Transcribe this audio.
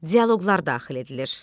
Dialoqlar daxil edilir.